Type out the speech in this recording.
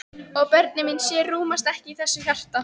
Og börnin mín sjö rúmast ekki í þessu hjarta.